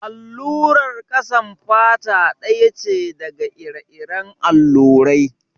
Allurar ƙasan fata ɗaya ce daga ire-iren allurai.